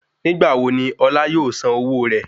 Nígbà wo ni Ọlá yóò san owó rẹ?